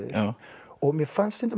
og mér fannst stundum